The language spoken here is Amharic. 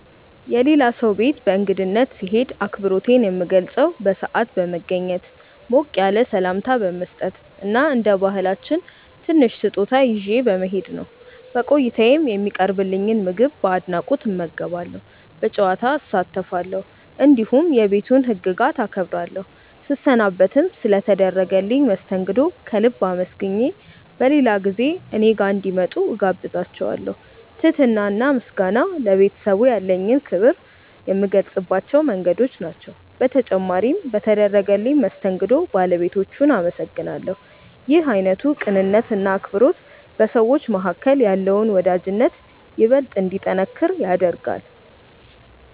የሌላ ሰው ቤት በእንግድነት ስሄድ አክብሮቴን የምገልጸው በሰዓት በመገኘት፣ ሞቅ ያለ ሰላምታ በመስጠት እና እንደ ባህላችን ትንሽ ስጦታ ይዤ በመሄድ ነው። በቆይታዬም የሚቀርብልኝን ምግብ በአድናቆት እመገባለሁ፣ በጨዋታ እሳተፋለሁ፣ እንዲሁም የቤቱን ህግጋት አከብራለሁ። ስሰናበትም ስለ ተደረገልኝ መስተንግዶ ከልብ አመስግኜ በሌላ ጊዜ እኔ ጋር እንዲመጡ እጋብዛቸዋለው። ትህትና እና ምስጋና ለቤተሰቡ ያለኝን ክብር የምገልጽባቸው መንገዶች ናቸው። በተጨማሪም በተደረገልኝ መስተንግዶ ባለቤቶቹን አመሰግናለሁ። ይህ አይነቱ ቅንነት እና አክብሮት በሰዎች መካከል ያለውን ወዳጅነት ይበልጥ እንዲጠነክር ያደርጋል።